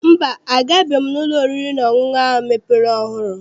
Mba, agabeghị m n'ụlọ oriri na ọṅụṅụ ahụ mepere ọhụụ.